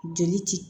Jeli ti